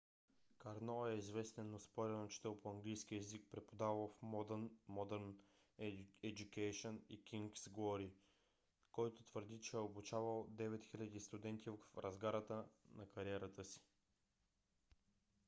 карно е известен но спорен учител по английски език преподавал в modern education и king's glory който твърди че е обучавал 9000 студенти в разгара на кариерата си